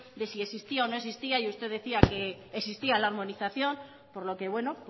de si existía o no existía y usted decía que existía la armonización por lo que bueno